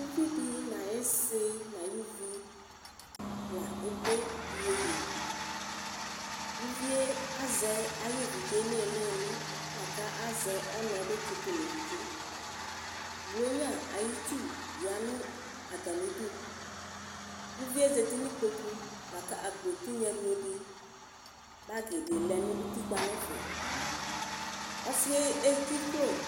Ʋvidi nʋ ayʋ isi nʋ ayʋ ʋvi la ede iyeye ʋvi azɛ ayʋ evidze nʋ ilili kʋ azɛ ɔna bivtsitʋ nʋ evidze blʋnya ayʋ itsʋ bi yanʋ atami idʋ kʋ ʋvie zati nʋ ikpokʋ lakʋ akpo tinya miyo di lɛnʋ ʋtikpa nʋ ɛfɛ osɩ yɛ edzikplo